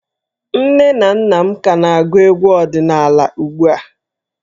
Nne na nna m ka na-agụ egwu ọdịnala ugbu a.